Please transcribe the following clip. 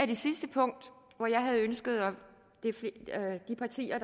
det sidste punkt ønsker de partier